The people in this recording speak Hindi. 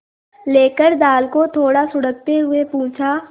लेकर दाल को थोड़ा सुड़कते हुए पूछा